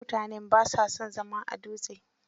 Mutanen ba sa son zama a Dutse.